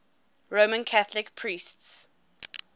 roman catholic priests